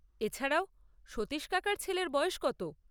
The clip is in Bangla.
এছাড়াও, সতীশ কাকার ছেলের বয়স কত?